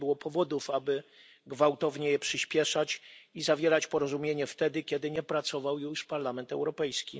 i nie było powodów, aby gwałtownie je przyspieszać i zawierać porozumienie wtedy, kiedy nie pracował już Parlament Europejski.